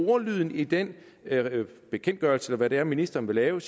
ordlyden i den bekendtgørelse eller hvad det er ministeren vil lave